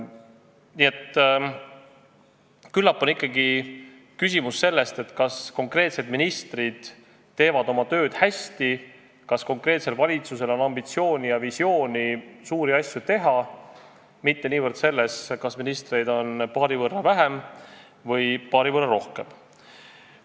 Nii et küllap on ikkagi küsimus selles, kas konkreetsed ministrid teevad oma tööd hästi, kas konkreetsel valitsusel on ambitsiooni suuri asju teha ja visioon silme ees, mitte niivõrd selles, kas ministreid on paari võrra vähem või paari võrra rohkem.